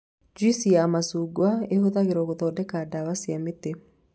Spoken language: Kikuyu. Juici ya macungwa ĩhũthagĩrwo gũthondeka ndawa cia mĩtĩ